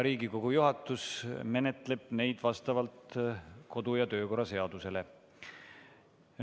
Riigikogu juhatus menetleb neid vastavalt kodu‑ ja töökorra seadusele.